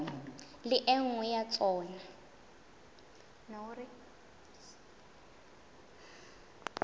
le e nngwe ya tsona